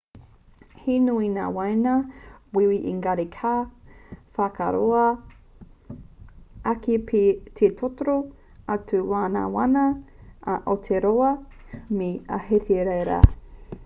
he nui ngā waina wīwī engari ka whāroa ake pea te totoro atu o ngā waina a aotearoa me ahitereiria